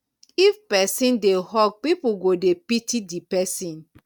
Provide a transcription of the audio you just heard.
if persin de hawk pipo go de pity di persin